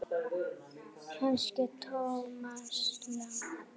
Kannski Thomas Lang?